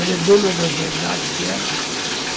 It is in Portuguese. Ela é dona das verdades dela.